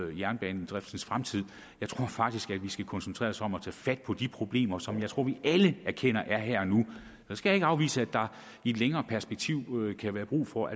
jernbanedriftens fremtid jeg tror faktisk at vi skal koncentrere os om at tage fat på de problemer som jeg tror vi alle erkender er her og nu jeg skal ikke afvise at der i et længere perspektiv kan være brug for